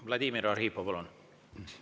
Vladimir Arhipov, palun!